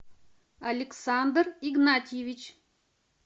александр игнатьевич